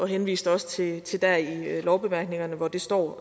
henviste også til til der i lovbemærkningerne hvor det står